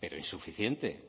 pero insuficiente